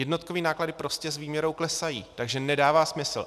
Jednotkové náklady prostě s výměrou klesají, takže nedává smysl.